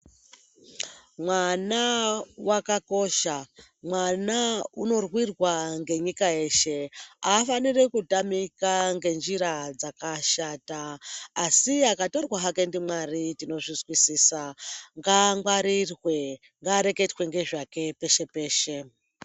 Mwana wakakosha, mwana unorwirwa ngenyika yeshe. Aafaniri kutamika ngenjira dzakashata, asi akatorwa hake ndiMwari tinozvizwisisa. Ngaangwarirwe, ngaareketwe ngezvake peshe peshe.